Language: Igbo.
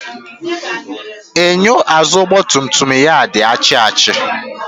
Enyo azụụ ọgba tum tum ya di achi achi.